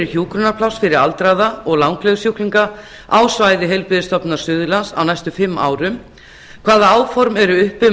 hjúkrunarpláss fyrir aldraða og langlegusjúklinga á svæði heilbrigðisstofnunar suðurlands á næstu fimm árum fjórða hvaða áform eru uppi um